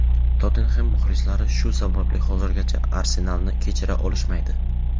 "Tottenxem" muxlislari shu sababli hozirgacha "Arsenal"ni kechira olishmaydi.